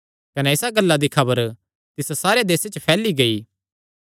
कने इसा गल्ला दी खबर तिस सारे देसे च फैली गेई